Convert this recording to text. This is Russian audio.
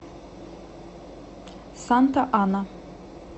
санта ана